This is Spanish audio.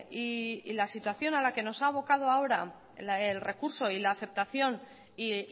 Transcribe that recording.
y la situación a la que nos ha abocado ahora el recurso y la aceptación y